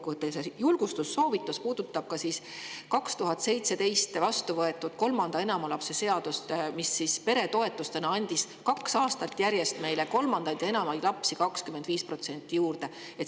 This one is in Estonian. julgustussoovitus puudutab 2017. aastal kolme ja enama lapsega perede toetust, mille tulemusel kaks aastat järjest 25% rohkem kolmandaid ja enamaid lapsi.